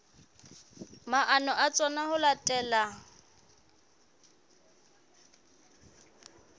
maano a tsona ho latela